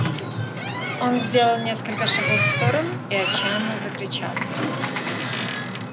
он сделал несколько шагов в сторону и отчаянно закричал